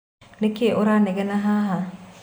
Nĩkĩ ũranegena haha?